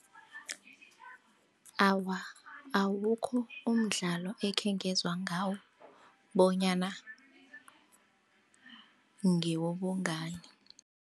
Awa, awukho umdlalo ekhengezwa ngawo bonyana ngewobungani.